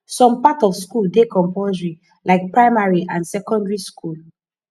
some part of school dey compulsory like primary and secondary school